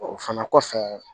O fana kɔfɛ